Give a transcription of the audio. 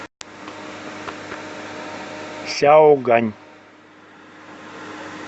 сяогань